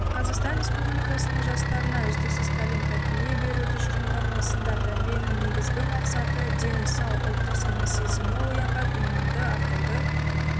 қазақстан республикасының жастарына үздіксіз тәлім-тәрбие беру тұжырымдамасындатәрбиенің негізгі мақсаты дені сау ұлттық сана-сезімі оянған иманды ақылды